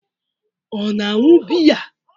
Ọ na-aṅụ biya?